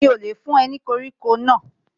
Mi ò lè fún ẹ ní koríko náà